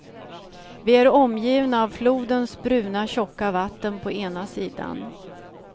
Vi är omgivna av flodens bruna, tjocka vatten på ena sidan.